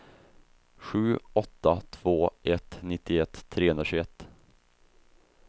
sju åtta två ett nittioett trehundratjugoett